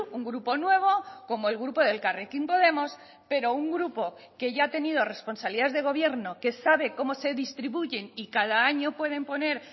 un grupo nuevo como el grupo de elkarrekin podemos pero un grupo que ya ha tenido responsabilidades de gobierno que sabe cómo se distribuyen y cada año pueden poner